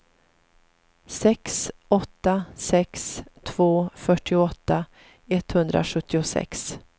sex åtta sex två fyrtioåtta etthundrasjuttiosex